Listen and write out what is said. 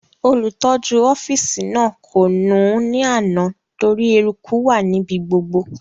Olùtọ́jú ọ́fìsì náà kò nù ún ní àná torí eruku wà níbi gbogbo